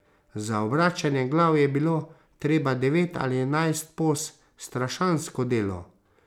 Za obračanje glav je bilo treba devet ali enajst poz, strašansko delo.